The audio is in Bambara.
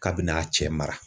K'a bɛna cɛ mara